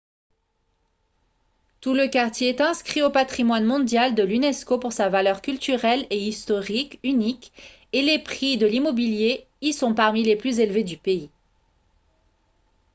tout le quartier est inscrit au patrimoine mondial de l'unesco pour sa valeur culturelle et historique unique et les prix de l'immobilier y sont parmi les plus élevés du pays